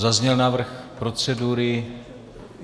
Zazněl návrh procedury.